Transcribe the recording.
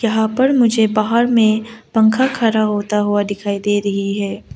यहां पर मुझे बाहर में पंखा खड़ा होता हुआ दिखाई दे रही है।